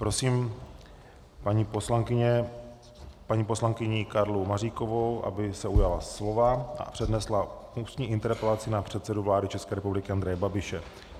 Prosím paní poslankyni Karlu Maříkovou, aby se ujala slova a přednesla ústní interpelaci na předsedu vlády České republiky Andreje Babiše.